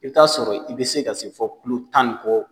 I bɛ t'a sɔrɔ i bɛ se ka se fɔ kilo tan ni kɔ